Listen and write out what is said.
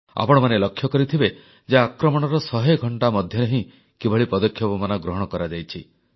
ଆପଣମାନେ ଲକ୍ଷ୍ୟ କରିଥିବେ ଯେ ଆକ୍ରମଣର ଶହେ ଘଣ୍ଟା ମଧ୍ୟରେ ହିଁ କିଭଳି ପଦକ୍ଷେପମାନ ଗ୍ରହଣ କରାଯାଇଛି